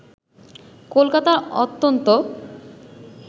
কলকাতার অত্যন্ত